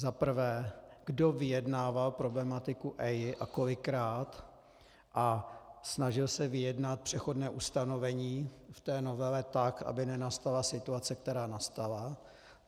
Za prvé, kdo vyjednával problematiku EIA a kolikrát a snažil se vyjednat přechodné ustanovení v té novele tak, aby nenastala situace, která nastala?